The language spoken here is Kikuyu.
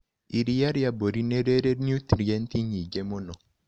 Iria rĩa mbũri nĩriri nutrienti nyingĩ mũno.